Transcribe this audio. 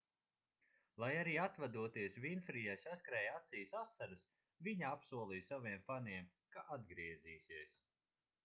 lai arī atvadoties vinfrijai saskrēja acīs asaras viņa apsolīja saviem faniem ka atgriezīsies